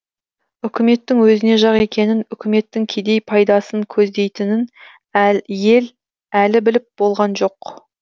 үкіметтің өзіне жақ екенін үкіметтің кедей пайдасын көздейтінін ел әлі біліп болған жоқ